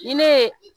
Ni ne ye